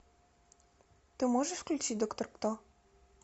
ты можешь включить доктор кто